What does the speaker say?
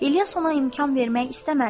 İlyas ona imkan vermək istəmədi.